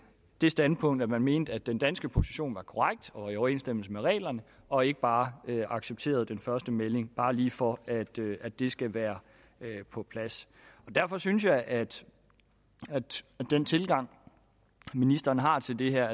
det standpunkt at man mente at den danske position var korrekt og i overensstemmelse med reglerne og ikke bare accepterede den første melding bare lige for at det at det skal være på plads derfor synes jeg at den tilgang ministeren har til det her